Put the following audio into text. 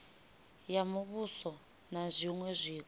ya muvhuso na zwiṅwe zwiko